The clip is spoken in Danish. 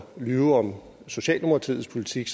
lyve om socialdemokratiets politik